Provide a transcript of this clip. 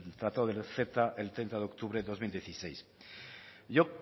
tratado del ceta el treinta de octubre de dos mil dieciséis yo